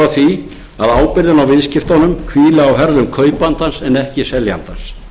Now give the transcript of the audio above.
því að ábyrgðin á viðskiptunum hvíli á herðum kaupandans en ekki seljandans